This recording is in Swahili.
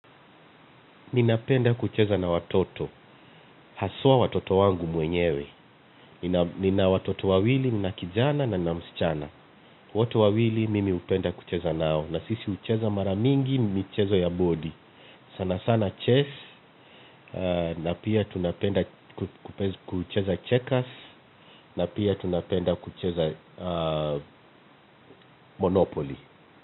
Ninapenda kucheza na watoto, haswa watoto wangu mwenyewe. Nina watoto wawili nina kijana na nina msichana. Wote wawili mimi hupenda kucheza nao. Na sisi hucheza mara mingi, michezo ya boli. Sana sana chase, na pia tunapenda kucheza checkers, na pia tunapenda kucheza monopoly.